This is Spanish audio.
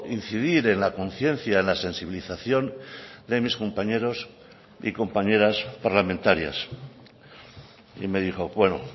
incidir en la conciencia en la sensibilización de mis compañeros y compañeras parlamentarias y me dijo bueno